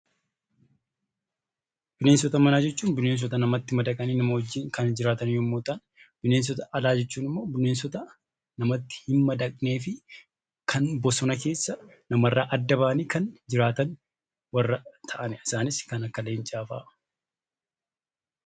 Bineensota manaa jechuun bineensota namatti madaqanii nama wajjiin kan jiraatan yammuu ta'an; bineensota alaa jechuun immoo bineensota namatti hin madaqnee fi kan bosona keessa nama irraa adda ba'anii jiraatanii dha. Fakkeenyaaf kan akka Leencaa fa'aa.